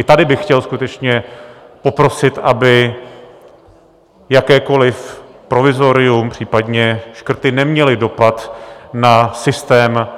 I tady bych chtěl skutečně poprosit, aby jakékoliv provizorium, případně škrty neměly dopad na systém